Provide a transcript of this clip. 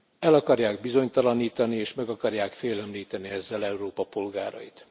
El akarják bizonytalanítani, és meg akarják félemlíteni ezzel Európa polgárait.